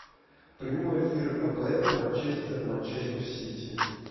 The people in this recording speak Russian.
прямой эфир апл манчестер манчестер сити